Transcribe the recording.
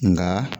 Nka